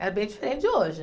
Era bem diferente de hoje.